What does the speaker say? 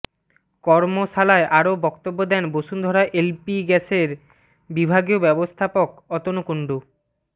কর্মশালায় আরো বক্তব্য দেন বসুন্ধরা এলপি গ্যাসের বিভাগীয় ব্যবস্থাপক অতনু কুণ্ডু ও মো